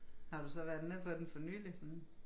Har du så været nede på den for nyligt sådan